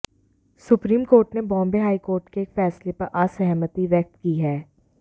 supreme court ने Bombay high court के एक फैसले पर असहमति व्यक्त की है